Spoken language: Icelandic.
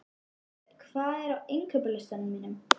Ingibjörn, hvað er á innkaupalistanum mínum?